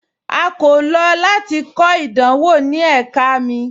A kò lọ lati kọ idanwọ ni ẹ̀kà mi.